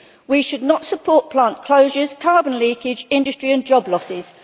We should not support plant closures, carbon leakage, and industry and job losses.